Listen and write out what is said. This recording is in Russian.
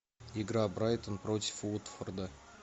игра брайтон против уотфорда